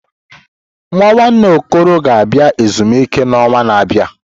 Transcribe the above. Nwa nwanne Okoro ga-abịa ezumike n'ọnwa na-abịa.